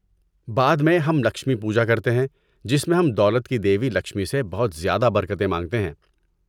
بعد میں، ہم 'لکشمی پوجا' کرتے ہیں جس میں ہم دولت کی دیوی لکشمی سے بہت زیادہ برکتیں مانگتے ہیں۔